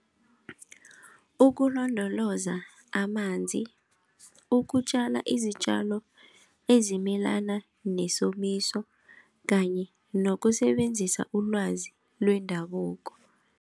Ukulondoloza amanzi, ukutjala izitjalo ezimelana nesomiso kanye nokusebenzisa ulwazi lwendabuko.